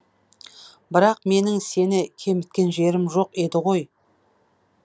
бірақ менің сені кеміткен жерім жоқ еді ғой